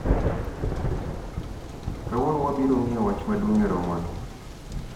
Kawuono wabiro ng'iyo wach maduong' e romo ni